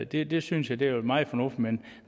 det det synes jeg vil være meget fornuftigt men